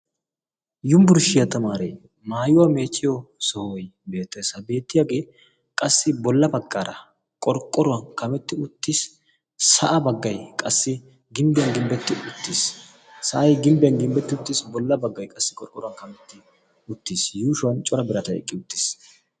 yumbburshiyaa tamaaree maayuwaa meechchiyo sohoi beette sa beettiyaagee qassi bolla paqqara qorqqoruwan kametti uttiis sa7a baggai qassi gimbbiyan gimbbetti uttiis sa7ai gimbbiyan gimbbetti uttiis bolla baggai qassi qorqqoruwaa kametti uttiis yuushuwan cora biratai eqqi uttiis